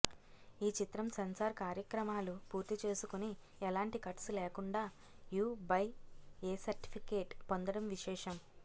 ఈ చిత్రం సెన్సార్ కార్యక్రమాలు పూర్తిచేసుకొని ఎలాంటి కట్స్ లేకుండా యు బై ఏ సర్ట్ఫికెట్ పొందడం విశేషం